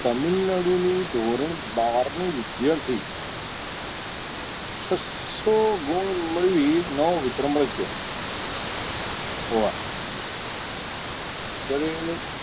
તામિલનાડુની ધોરણ બાર ની વિદ્યાર્થી છસો ગુણ મેળવી નવ વિક્રમ રચ્યો હોવા જ્યારે તમે